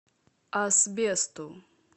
асбесту